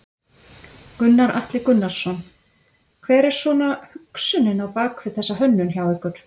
Gunnar Atli Gunnarsson: Hver er svona hugsunin á bak við þessa hönnun hjá ykkur?